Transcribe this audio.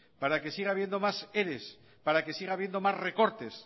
para que siga habiendo más eres para que siga habiendo más recortes